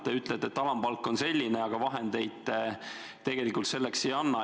Te ütlete, et alampalk on selline, aga vahendeid tegelikult selleks ei anna.